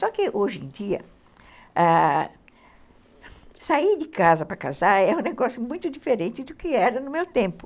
Só que hoje em dia, ãh, sair de casa para casar é um negócio muito diferente do que era no meu tempo.